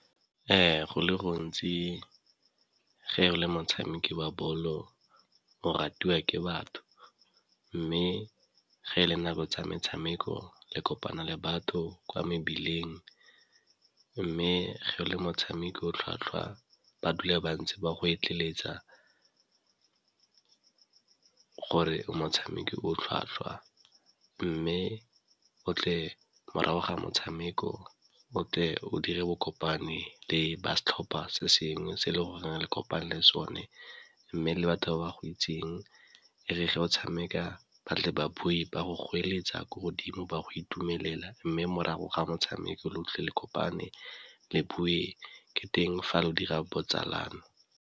Go le gontsi ge e le motshameko wa bolo o ratiwa ke batho, mme ge e le nako tsa metshameko le kopana le batho kwa mebileng mme ge le motshameko o tlhwatlhwa ba dule ba ntse ba go eletsa gore motshameki o tlhwatlhwa. Mme o tle morago ga motshameko, o tle o dire bo kopane le ba setlhopa se sengwe se e le goreng le kopane le sone mme le batho ba ba go itseng, ge le tlo tshameka batle baabi ba go goeletsa ko godimo ba go itumelela mme morago ga motshameko le utlwe le kopane le bue, ke teng fa o dira botsalano.